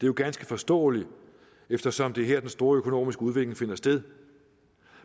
jo ganske forståeligt eftersom det er her den store økonomiske udvikling finder sted